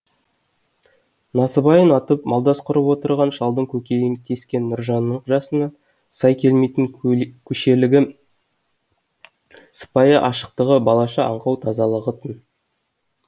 насыбайын атып малдас құрып отырған шалдың көкейін тескен нұржанның жасына сай келмейтін көшелігі сыпайы ашықтығы балаша аңқау тазалығы тын